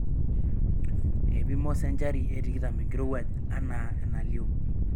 Eipimo senchari e tikitam enkirowuaj anaa enalioo.